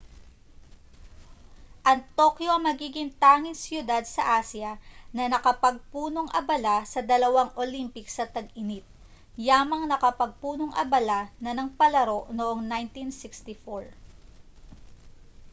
ang tokyo ang magiging tanging siyudad sa asya na nakapagpunong-abala sa dalawang olympics sa tag-init yamang nakapagpunong-abala na ng palaro noong 1964